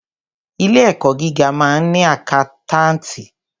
Ilé ẹ̀kọ́ gíga máa ń ni àkántàntì.